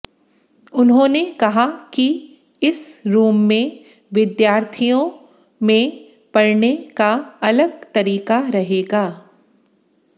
उन्होंने कहा कि इस रूम में विद्यार्थियों में पढ़ने का अलग तरीका रहेगा